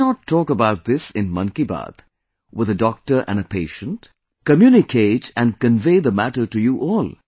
Why not talk about this in 'Mann Ki Baat' with a doctor and a patient, communicate and convey the matter to you all